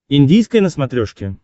индийское на смотрешке